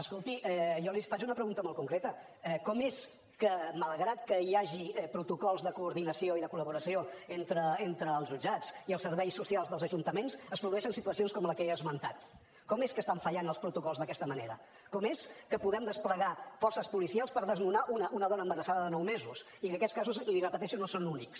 escolti jo li faig una pregunta molt concreta com és que malgrat que hi hagi protocols de coordinació i de collaboració entre els jutjats i els serveis socials dels ajuntaments es produeixen situacions com la que he esmentat com és que estan fallant els protocols d’aquesta manera com és que podem desplegar forces policials per desnonar una dona embarassada de nous mesos i que aquests casos l’hi repeteixo no són únics